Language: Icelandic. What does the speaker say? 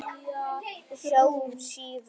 Sjáumst síðar, Viktor.